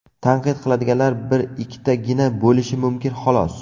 Tanqid qiladiganlar bir-ikkitagina bo‘lishi mumkin xolos.